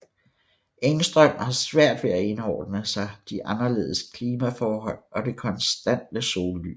Engström har svært ved at indordne sig de anderledes klimaforhold og det konstante sollys